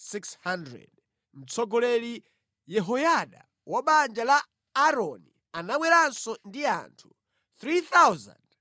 mtsogoleri Yehoyada wa banja la Aaroni anabweranso ndi anthu 3,700,